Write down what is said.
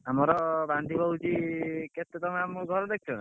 ଆମର ବାନ୍ଧିବୁ ହଉଛି କେତେ ତମେ ଆମ ଘର ଦେଖିଛ ନା?